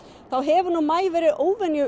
þá hefur maí verið óvenju